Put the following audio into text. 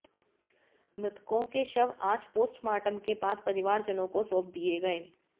मृतकों के शव आज पोस्टमार्टम के बाद परिवारजनों को सौंप दिए गए